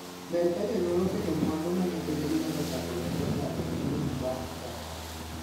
Ber ka jonyuol oketo mwandu ma nyithindgi nyalo chako godo dak manyien bang' thoo.